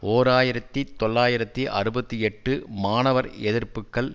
ஓர் ஆயிரத்தி தொள்ளாயிரத்தி அறுபத்தி எட்டு மாணவர் எதிர்ப்புக்கள்